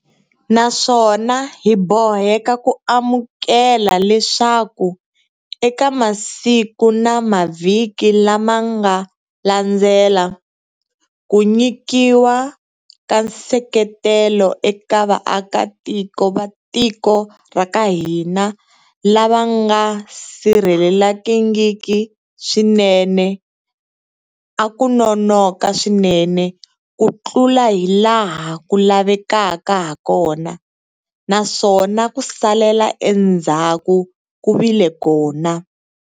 Naswona hi boheka ku amukela leswaku eka masiku na mavhiki lama nga landzela, ku nyikiwa ka nseketelo eka vaakatiko va tiko ra ka hina lava nga sirhelelekangiki swinene a ku nonoka swinene kutlula hilaha ku lavekaka hakona, naswona ku salela endzhaku ku vile kona.